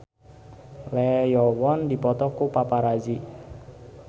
Lee Yo Won dipoto ku paparazi